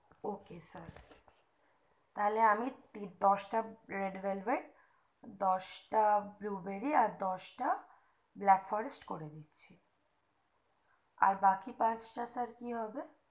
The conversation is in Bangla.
ok sir তাইলে আমি দশটা red velvet দশটা blueberry দশটা black forest আর করে দিচ্ছি আর বাকি পাঁচটা sir কি হবে